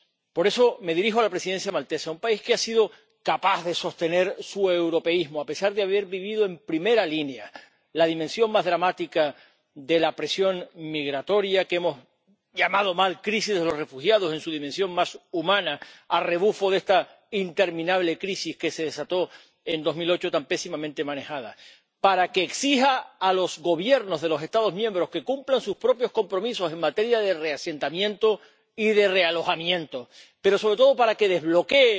Por eso me dirijo a la Presidencia maltesa, —un país que ha sido capaz de sostener su europeísmo a pesar de haber vivido en primera línea la dimensión más dramática de la presión migratoria, que hemos llamado mal crisis de los refugiados, en su dimensión más humana, a rebufo de esta interminable crisis, que se desató en 2008, tan pésimamente manejada— para que exija a los Gobiernos de los Estados miembros que cumplan sus propios compromisos en materia de reasentamiento y de realojamiento, pero sobre todo para que desbloquee